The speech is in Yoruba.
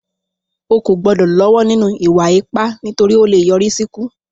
O kò gbọ́dọ̀ lọ́wọ́ nínú ìwà ipá, nítorí ó lè yọrí sí ikú